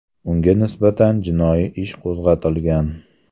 Unga nisbatan jinoiy ish qo‘zg‘atilgan.